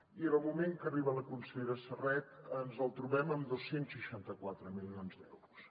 i en el moment que arriba la consellera serret ens el trobem amb dos cents i seixanta quatre milions d’euros